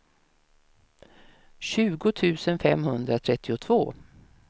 tjugo tusen femhundratrettiotvå